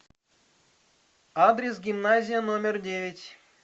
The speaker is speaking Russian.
адрес гимназия номер девять